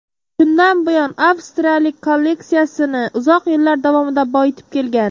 Shundan buyon avstriyalik kolleksiyasini uzoq yillar davomida boyitib kelgan.